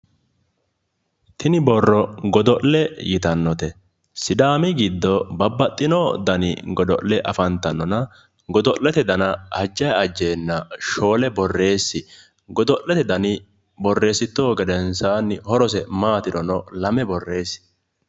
Tini borro godo'le yitannote sidaamu giddo babbaxitino dani godo'le afantannona godo'le dana ajjanni ajjeenna shoole borreessi godo'lete dana shoole borreessittohu gedensaani horoseno Lame borreessi.